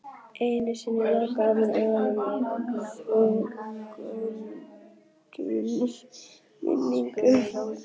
Enn einu sinni lokaði hún augum sínum þrungnum minningum.